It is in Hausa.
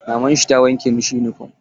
Maman shi ta wanke masa yunifom.